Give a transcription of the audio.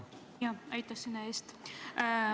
Aitäh sõna andmise eest!